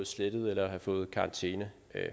slettet eller have fået karantæne